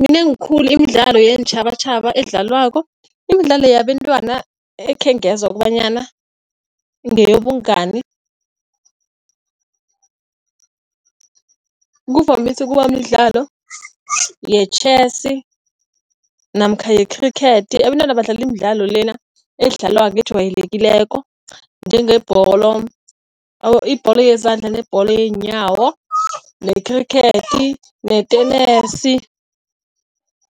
Minengi khulu imidlalo yeentjhabatjhaba edlalwako. Imidlalo yabentwana ekhengezwa kobanyana ngeyobungani kuvamise ukuba midlalo yetjhesi namkha yekhrikhethi. Abentwana badlale imidlalo lena edlalwako ejwayelekileko njengebholo, ibholo yezandla, nebholo yenyawo, nekhrikhethi netenesi.